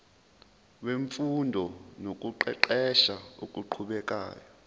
wemfundo nokuqeqesha okuqhubekayo